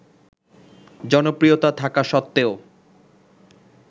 জনপ্রিয়তা থাকা সত্ত্বেও